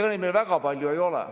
Ega meil neid väga palju ei ole.